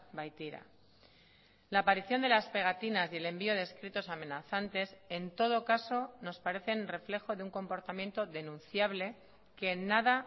baitira la aparición de las pegatinas y el envío de escritos amenazantes en todo caso nos parecen reflejo de un comportamiento denunciable que en nada